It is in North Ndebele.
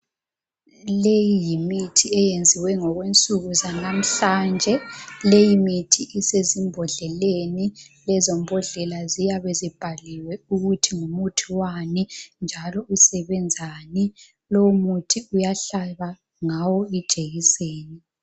Leyi yimithi eyenziwe ngokwensuku zanamuhlanje, leyi mithi isezimbhodleleni lezo mbhodlela ziyabe zibhaliwe ukuthi ngumuthi wani njalo usebenzani lowo muthi uyahlaba ngawo ijekiseni.